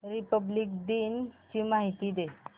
Republic दिन ची माहिती दे